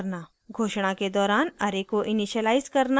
* घोषणा के दौरान array को इनिशिअलाइज़ करना